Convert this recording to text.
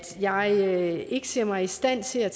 jeg ikke ser mig i stand til at